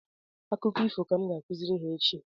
Akụkọ ifo ka m ga-akụziri ha echi